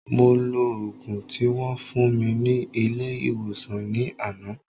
Mo lo ògùn tí wón fún mi ní ilé ìwòsàn ní àná